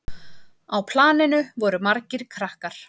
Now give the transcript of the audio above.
Á planinu voru margir krakkar.